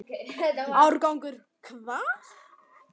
Árangur hvað?